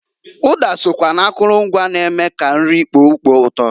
Uda sokwa na akulu ngwa n-eme nri kpoo ukpo uto.